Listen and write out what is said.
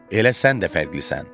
Elə sən də fərqlisən.